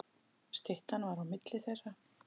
Styttan var á milli þeirra.